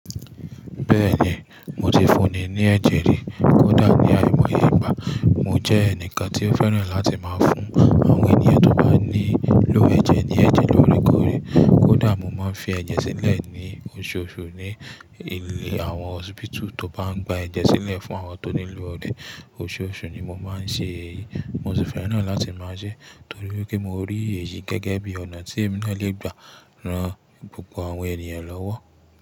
Bẹ́ẹ̀ni, mo ti fún ni ní ẹ̀jẹ̀ rí, kódà ní àìmọye ìgbà. Mo jẹ́ ẹnìkan tí ó fẹ́ràn láti máa fún àwọn ènìyàn tó bá nílò ẹ̀jẹ̀ ní ẹ̀jẹ̀ lórikórí. Kódà mo máa ń fi ẹ̀jẹ̀ sílẹ̀ ní oṣooṣù ní ilé àwọn hospital tó bá ń gba ẹ̀jẹ̀ sílẹ̀ fún àwọn tó nílò rẹ̀. Oṣooṣù ni mo máa ń ṣe èyí. Mo sì fẹ́ràn láti máa ṣe é torí wípé mo rí èyí gẹ́gẹ́ bí ọ̀nà tí mo lè gbà ran gbogbo àwọn ènìyàn lọ́wọ́.